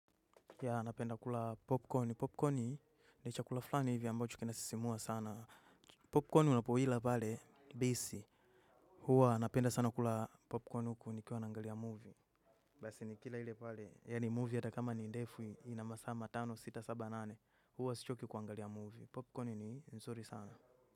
Yeah napenda kula popcorn porpcon ni chakula fulani hivi ambacho kinasisimua sana. Popcorn unapoila pale base huwa napenda sana kula popcorn huku nikiwa naangalia movie. Basi nikila ile pale, yaani movie ata kama ni ndefu ina masaa matano sita saba nane huwa sichoki kuangalia movie. Popcorn ni nzuri sana.